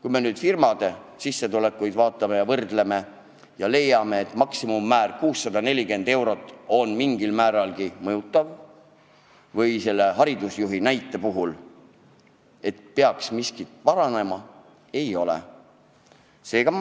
Kui me firmade sissetulekuid vaatame ja võrdleme ja leiame, et maksimummäär 640 eurot on näiteks haridusasutuse puhul mingil määral mõjuv ja asi peaks paranema, siis nii see ei ole.